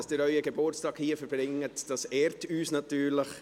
Dass Sie Ihren Geburtstag trotzdem hier verbringen, ehrt uns natürlich.